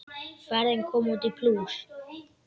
Ferðin kom út í plús.